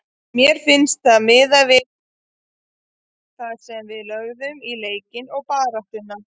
Mér finnst það miðað við það sem við lögðum í leikinn og baráttuna.